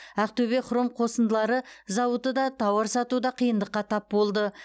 ақтөбе хром қосындылары зауыты да тауар сатуда қиындыққа тап болды